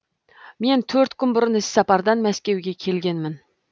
мен төрт күн бұрын іссапардан мәскеуге келгенмін